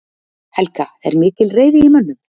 Helga: Er mikil reiði í mönnum?